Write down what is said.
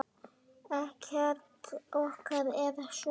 Ekkert okkar er svona.